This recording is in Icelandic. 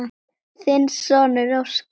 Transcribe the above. Þinn sonur, Óskar.